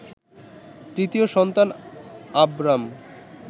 তৃতীয় সন্তান আবরাম